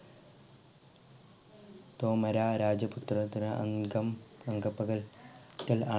തോമരാ രാജപുത്രത്ര അംഗം അംഗപകൽ